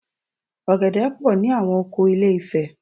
Ọ̀gẹ̀dẹ̀ pọ̀ ní àwọn oko Ilé-ifẹ̀